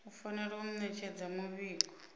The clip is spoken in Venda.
u fanela u ṋetshedza muvhigo